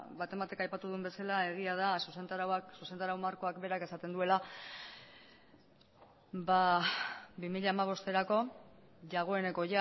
baten batek aipatu duen bezala egia da zuzentarau markoak berak esaten duela bi mila hamabosterako dagoeneko